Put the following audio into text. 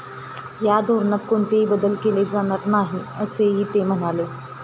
या धोरणात कोणतेही बदल केले जाणार नाही, असेही ते म्हणाले.